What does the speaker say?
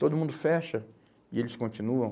Todo mundo fecha e eles continuam.